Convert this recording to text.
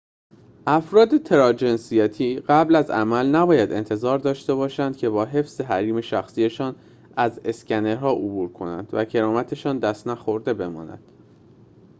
افراد تراجنسیتی قبل از عمل نباید انتظار داشته باشند که با حفظ حریم شخصی‌شان از اسکنرها عبور کنند و کرامت‌شان دست نخورده بماند